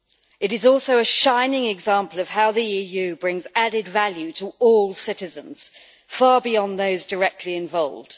It is also a shining example of how the EU brings added value to all citizens, far beyond those directly involved.